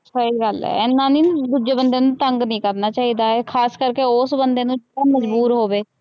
ਸਹੀ ਗੱਲ ਹੈ ਇੰਨਾ ਨੀ ਦੂਜੇ ਬੰਦੇ ਨੂੰ ਤੰਗ ਨੀ ਕਰਨਾ ਚਾਹੀਦਾ ਹੈ ਖ਼ਾਸ ਕਰਕੇ ਉਸ ਬੰਦੇ ਨੂੰ ਜੋ ਮਜ਼ਬੂਰ ਹੋਵੇ।